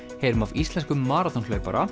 heyrum af íslenskum